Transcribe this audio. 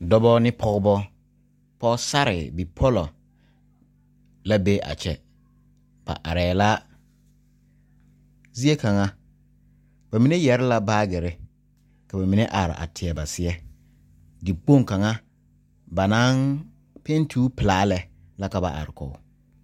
Dɔbɔ ne pɔɔbɔ pɔɔsarre pɔlɔ la be a kyɛ ba areɛɛ la zie kaŋa ba mine yɛre la baagirre ka ba mine are a teɛ ba seɛ dikpoŋ kaŋa ba naŋ penti o pilaa lɛ la ka ba are kɔg.